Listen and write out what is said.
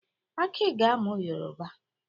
Aki ga-amụ Yoroba.